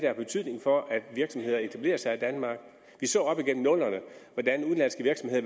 har betydning for at virksomheder etablerer sig i danmark vi så op igennem nullerne hvordan udenlandske virksomheder